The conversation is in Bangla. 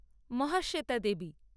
মহাশ্বেতা দেবী